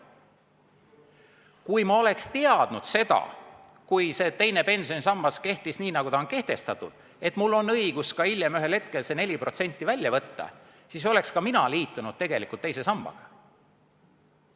Kui ma oleks teadnud siis, kui teine pensionisammas kehtis nii, nagu ta on kehtestatud, et mul on õigus hiljem ühel hetkel see 4% välja võtta, siis oleks ka mina liitunud teise sambaga.